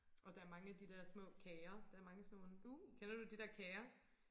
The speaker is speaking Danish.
Og der er mange af de der små kager der er mange af sådan nogen kender du de der kager?